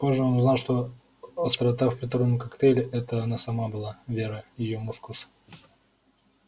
позже он узнал эта острота в приторном коктейле это она сама была вера её мускус